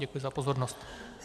Děkuji za pozornost.